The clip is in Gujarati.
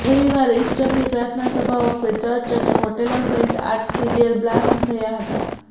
રવિવારે ઇસ્ટરની પ્રાર્થના સભા વખતે ચર્ચ અને હોટલો સહિત આઠ સીરિયલ બ્લાસ્ટ થયા હતા